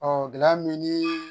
gɛlɛya min ni